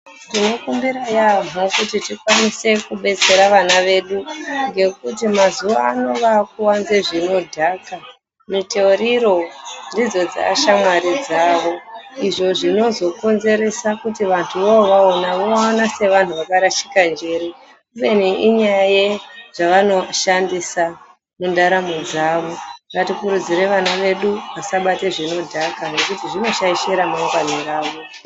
Tinokumbira yaamho kuti tikwanise kubetsera vana vedu ngekuti mazuwa ano vakuwanza zvinodhaka. Mitoriro ndidzo dzaashamwari dzavo. Izvo zvinozokonzeresa kuti vantu vovaona vaone sevantu vakarashika njere. Kubeni inyaya yezvavanoshandisa mundaramo dzavo. Ngatikurudzire vana vedu vasabata zvinodhaka ngekuti zvinoshaisha remangwani ravo.